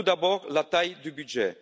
Tout d'abord, la taille du budget.